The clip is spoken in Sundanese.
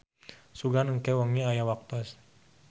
Sugan engke wengi aya waktos.